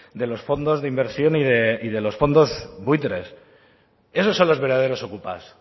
de los fondos de inversión y de los fondos buitres esos son los verdaderos okupas